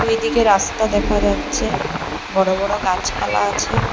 দুইদিকে রাস্তা দেখা যাচ্ছে বড়ো বড়ো গাছপালা আছে।